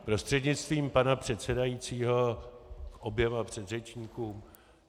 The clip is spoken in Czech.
Prostřednictvím pana předsedajícího oběma předřečníkům.